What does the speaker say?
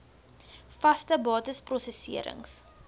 vaste bates prosesserings